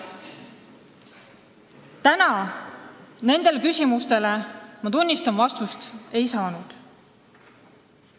Täna ma nendele küsimustele, tunnistan, vastust ei saanud.